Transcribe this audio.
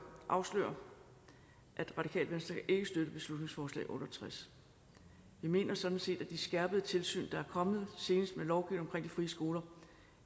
afsløre at det radikale venstre ikke kan støtte beslutningsforslag b otte og tres vi mener sådan set at det skærpede tilsyn der er kommet senest med lovgivningen frie skoler